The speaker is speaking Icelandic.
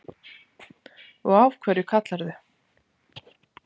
Og af hverju kallarðu